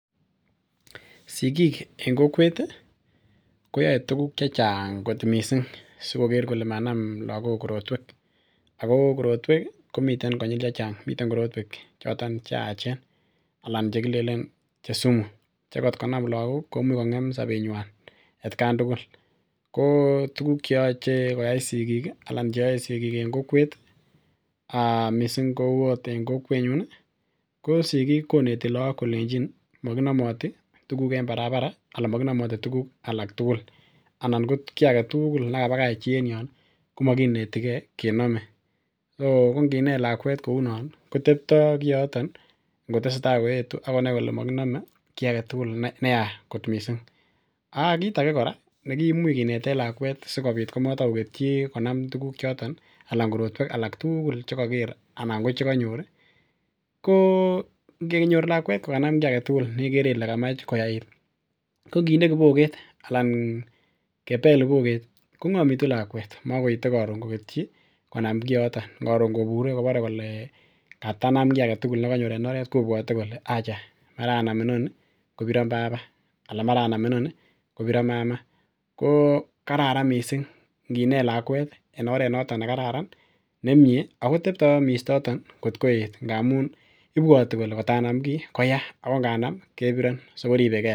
Sigik en kokwet ih koyoe tuguk chechang kot missing sikoker kole manam lakok korotwek ako korotwek ih komiten konyil chechang. Miten korotwek choton cheyachen anan chekilenen che sumu che ngotko nam lakok komuche kong'em sobetnywan atkan tugul ko tuguk cheyoche koyai sigik ih anan cheyoe sigik en kokwet um missing kou ot en kokwetnyun ih ko sigik koneti lakok kolenjin makinomoti tuguk en barabara anan mokinomoti tuguk alak tugul anan ko kiy aketugul nekabakach chi en yon ih komokinetigee kenome so konginet lakwet kounon ih koteptoo kioton ih ngotesetai koetu akonai kole mokinome kiy aketugul neya kot missing ak kit age kora nekimuche kineten lakwet sikobit ko matokoketyi konam tuguk choton anan korotwek alak tugul chekoker anan ko chekonyor ih ko ngenyor lakwet kokanam kiy aketugul nekere ile kamach koyait ih ko nginde kiboket anan kebel kiboket kong'omitu lakwet makoite koron koketyi konam kioto koron kobure kole katanam kiy aketugul nekanyor en oret .kobwote kole acha mara anam inoni kobiron baba ana mara anam inoni kobiron mama ko kararan missing nginet lakwet en oret noton nekararan nemie akoteptoo mistoton kot koet ngamun ibwoti kole ngot anam kii koya ako nganam kebiron so koribegee lakwet